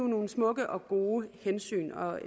nogle smukke og gode hensyn og